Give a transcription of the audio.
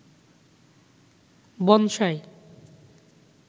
bonsai